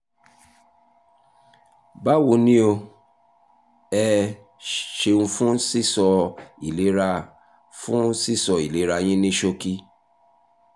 báwo ni o? ẹ ṣeun fún sísọ ìlera fún sísọ ìlera yín ní ṣókí